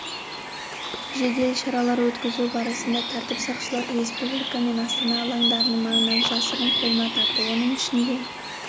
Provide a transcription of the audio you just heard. жедел шаралар өткізу барысында тәртіп сақшылары республика мен астана алаңдарының маңынан жасырын қойма тапты оның ішінде